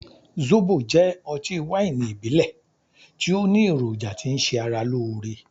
Zóbo jẹ́ ọtí wáìnì ìbílẹ̀ tí ó ní èròjà tí ń ṣe ara lóore.